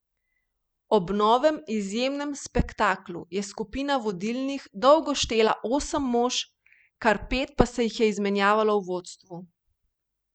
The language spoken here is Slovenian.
Ob novem izjemnem spektaklu je skupina vodilnih dolgo štela osem mož, kar pet pa se jih je izmenjalo v vodstvu.